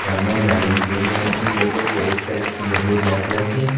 सामने बैलूंस लगे हैं yellow white colour yellow black colour के।